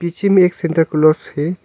इसी में एक सेंटाक्लोज हैं।